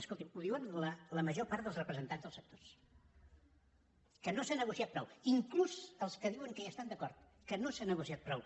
escolti’m ho diuen la major part dels representants dels sectors que no s’ha negociat prou inclús els que diuen que hi estan d’acord que no s’ha negociat prou